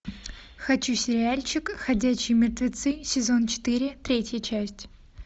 хочу сериальчик ходячие мертвецы сезон четыре третья часть